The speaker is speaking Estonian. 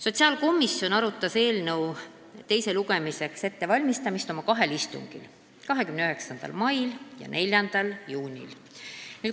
Sotsiaalkomisjon arutas eelnõu teiseks lugemiseks ettevalmistamist oma kahel istungil: 29. mail ja 4. juunil.